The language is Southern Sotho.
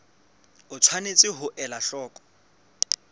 o tshwanetse ho ela hloko